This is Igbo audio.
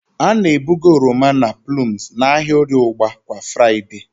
A na-ebuga oroma na plums n'ahịa Orie ugba kwa Fraịde.